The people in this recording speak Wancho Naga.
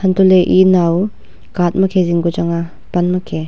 antoh ley e naw catt makhe zing ku changnga pan ma khe.